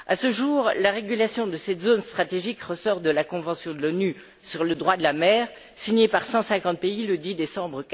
À ce jour, la régulation de cette zone stratégique relève de la convention de l'ONU sur le droit de la mer, signée par 150 pays le 10 décembre